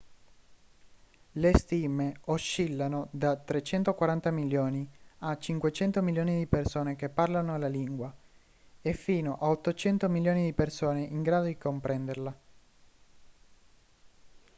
le stime oscillano da 340 milioni a 500 milioni di persone che parlano la lingua e fino a 800 milioni di persone in grado di comprenderla